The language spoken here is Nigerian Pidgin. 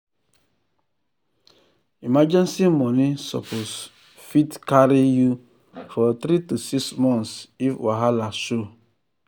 emergency money suppose fit um carry you for 3 to 6 months if wahala show.